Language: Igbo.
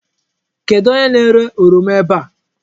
Kedụ onye na-ere oroma ebe a?